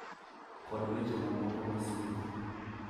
Kod weche mamoko masieko.